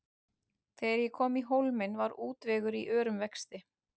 Þegar ég kom í Hólminn var útvegur í örum vexti.